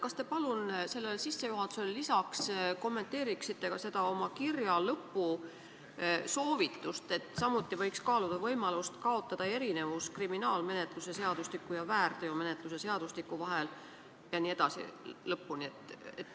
Kas te palun kommenteeriksite sellele sissejuhatusele lisaks oma kirja lõpu soovitust, et võiks kaaluda ka võimalust kaotada erinevus kriminaalmenetluse seadustiku ja väärteomenetluse seadustiku vahel jne?